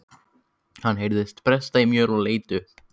Hann heyrði bresta í möl og leit upp.